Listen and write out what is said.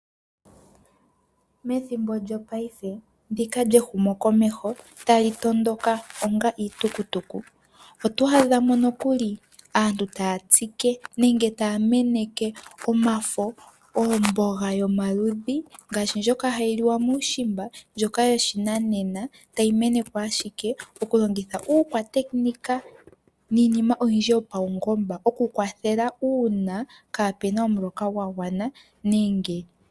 Methimbo lyopaife ndika lyehumo komeho tali tondoka onga iitukutuku. Oto adhamo nokuli aantu taya tsike nenge taya meneke omafo, oomboga yomaludhi ngaashi ndjoka hayi liwa muushimba ndjoka yoshinanena, tayi menekwa ashike okulongitha uukwatekinika niinima oyindji yopawungomba okukwathela uuna kapena omuloka gwagwana.